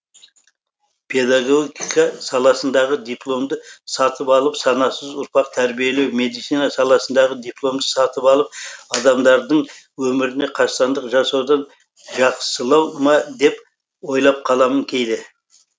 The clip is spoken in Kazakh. педагогика саласындағы дипломды сатып алып санасыз ұрпақ тәрбиелеу медицина саласындағы дипломды сатып алып адамдардың өміріне қастандық жасаудан жақсылау ма деп ойлап қаламын кейде